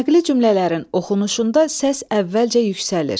Nəqli cümlələrin oxunuşunda səs əvvəlcə yüksəlir.